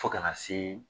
Fo kana se